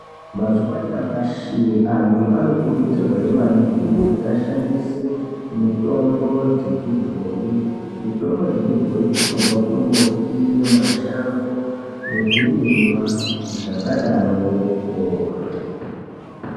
Mazuwa anyamashi antu anokurudzirwahe maningi kuti ashandise mitombo dzechibhoyi. Mitombo dzechibhoyi dzinobva kumimbuti nemashango nezvirimwa zvakadaroko.